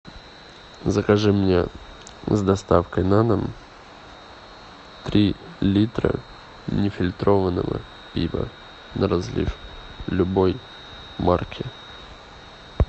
закажи мне с доставкой на дом три литра нефильтрованного пива на разлив любой марки